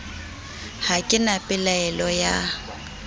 ha ke na pelaelo ya